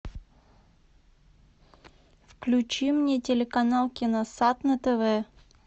включи мне телеканал киносад на тв